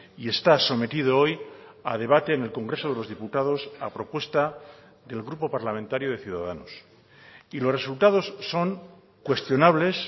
y está sometido hoy a debate en el congreso de los diputados a propuesta del grupo parlamentario de ciudadanos y los resultados son cuestionables